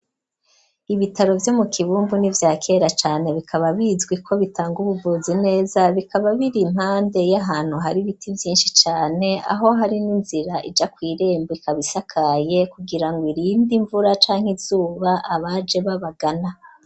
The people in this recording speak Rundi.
Ibitaro vyo mu kibumbu n'ivyakera cane bikaba bizwi ko bitanga ubuvuzi neza bikaba biri impande y'ahantu hari biti vyinshi cane aho hari n'inzira ija kw'irembo ikabisakaye kugira ngo irinde imvura canka izuba abaje babagana.